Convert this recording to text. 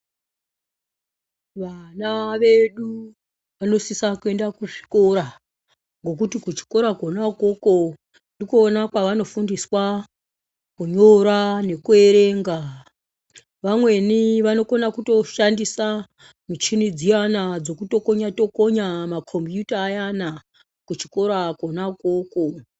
Vana vedu vanosisa kuenda ku zvikora ngekuti ku chikora kona ikoko ndikona kwavano fundiswa kunyora neku erenga vamweni vanokona kuto shandisa michini dziyana dzoku tokonya tokonya makombiyuta ayana ku chikora kona koko.